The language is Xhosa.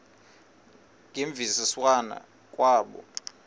ngemvisiswano r kwabo